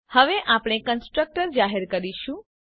હવે આપણે કન્સ્ટ્રક્ટર જાહેર કરીશું